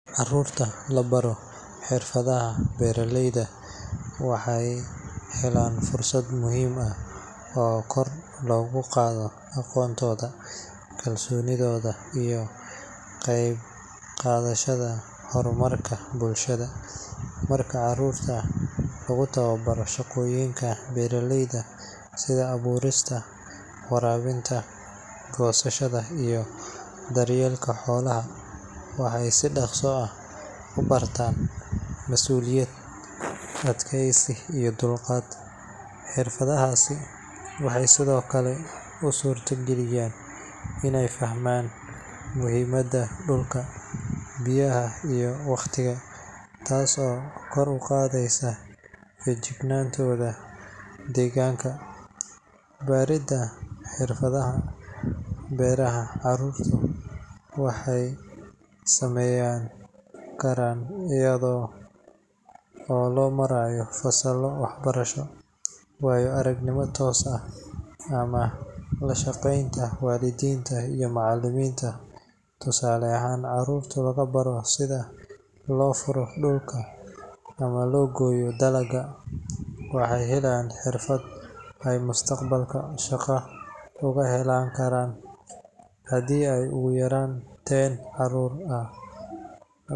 Carruurta la baro xirfadaha beeralayda waxay helaan fursad muhiim ah oo kor loogu qaadayo aqoontooda, kalsoonidooda, iyo ka qaybqaadashada horumarka bulshada. Marka carruurta lagu tababaro shaqooyinka beeraleyda sida abuurista, waraabinta, goosashada iyo daryeelka xoolaha, waxay si dhaqso ah u bartaan masuuliyad, adkaysi iyo dulqaad. Xirfadahaasi waxay sidoo kale u suura geliyaan inay fahmaan muhiimadda dhulka, biyaha iyo waqtiga, taas oo kor u qaadaysa feejignaantooda deegaanka. Baridda xirfadaha beeraha carruurta waxaa lagu samayn karaa iyada oo loo marayo fasallo waxbarasho, waayo-aragnimo toos ah ama la shaqaynta waalidiinta iyo macallimiinta. Tusaale ahaan, carruurta lagu baro sida loo furo dhulka ama loo gooyo dalagga, waxay helayaan xirfad ay mustaqbalka shaqo uga heli karaan. Haddii ugu yaraan ten carruur ah.